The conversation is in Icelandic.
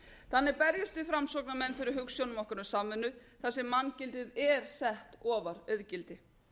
þannig berjumst við framsóknarmenn fyrir hugsjónum okkar um samvinnu þar sem manngildið er sett ofar auðgildi